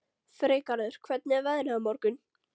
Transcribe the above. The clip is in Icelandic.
Freygarður, hvernig er veðrið á morgun?